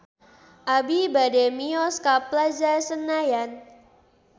Abi bade mios ka Plaza Senayan